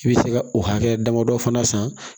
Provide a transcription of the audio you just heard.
I bɛ se ka o hakɛ damadɔ fana san